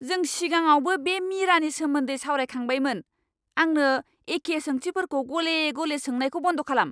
जों सिगाङावबो बे मीरानि सोमोन्दै सावरायखांबायमोन। आंनो एखे सोंथिफोरखौ गले गले सोंनायखौ बन्द' खालाम।